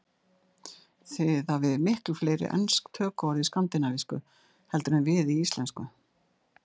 Þið hafið miklu fleiri ensk tökuorð í skandinavísku heldur en við í íslensku.